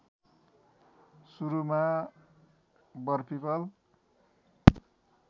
सुरुमा वर पीपल